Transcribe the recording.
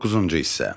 Doqquzuncu hissə.